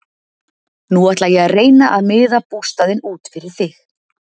Nú ætla ég að reyna að miða bústaðinn út fyrir þig.